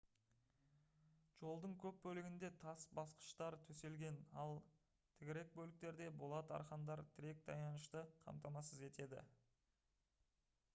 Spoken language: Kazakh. жолдың көп бөлігінде тас басқыштар төселген ал тігірек бөліктерде болат арқандар тірек таянышты қамтамасыз етеді